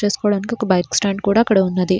Park చేసుకోవడానికి ఒక bike stand కూడా అక్కడ ఉన్నది.